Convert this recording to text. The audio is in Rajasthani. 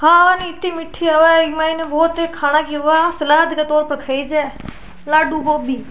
खान इती मीठी होवे इक मायने बहुत ही खाना की वास सलाद के तोर पर खाई जे लड्डू गोबी --